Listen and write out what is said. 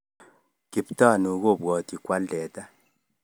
Kiptanui kobwoti koal teta